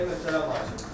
Xeyr, möhtərəm hakim.